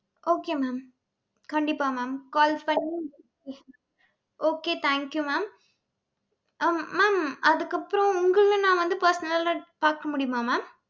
okay mam. கண்டிப்பா mam call பண்ணி okay thank you mam hmm mam அதுக்கப்புறம் உங்களை நான் வந்து, personal ஆ பாக்க முடியுமா mam